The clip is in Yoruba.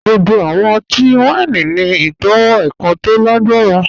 Gbogbo awọn ọtí-wàíní ni itọwo èkàn tó lágbarà.